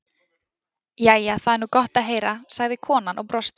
Jæja, það er nú gott að heyra, sagði konan og brosti.